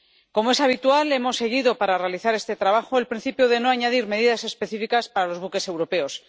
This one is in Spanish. Como es habitual, hemos seguido, para realizar este trabajo, el principio de no añadir medidas específicas para los buques europeos.